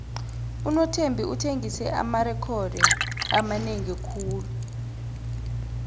unothembi uthengise amarekhodo amanengi khulu